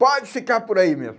Pode ficar por aí mesmo.